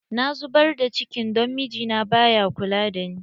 Na zubar da cikin don mijina ba ya kula da ni.